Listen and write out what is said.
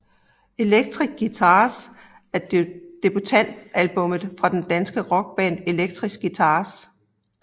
Electric Guitars er debutalbummet fra det danske rockband Electric Guitars